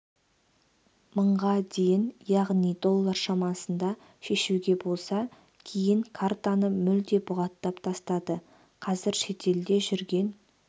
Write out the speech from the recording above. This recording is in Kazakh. мыңға дейін яғни доллар шамасында шешуге болса кейін картаны мүлде бұғаттап тастады қазір шетелде жүрген